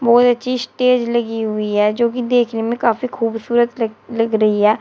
वो एक स्टेज लगी हुई है जोकि देखने में काफी खूबसूरत लग लग रही है।